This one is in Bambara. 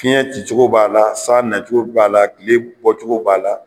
Fiɲɛ ci cogo b'a la , san na cogo b'a la, tile bɔ cogo b'a la.